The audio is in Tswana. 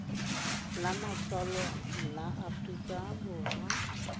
la matsalo la aforika borwa